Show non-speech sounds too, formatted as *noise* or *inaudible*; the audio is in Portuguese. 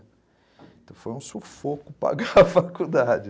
Então foi um sufoco pagar a faculdade. *laughs*